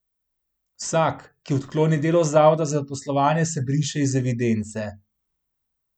Vsak, ki odkloni delo Zavoda za zaposlovanje se briše iz evidence.